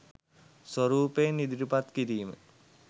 ස්වරූපයෙන් ඉදිරිපත් කිරීම